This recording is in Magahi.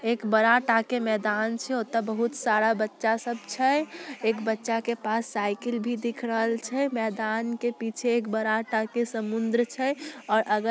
एक बड़ा टाके मैदान छय ओता बहुत सारा बच्चा सब छय एक बच्चा के पास साइकिल भी दिख रहल छय मैदान के पीछे एक बड़ा टाके समुंद्र छय और अगल --